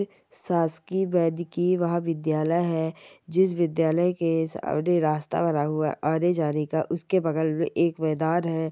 शासकीय वैद्यकीय महाविद्यालय है जिस विद्यालय के रास्ता बना हुआ है आने जाने का उसके बगल में एक मैदान है।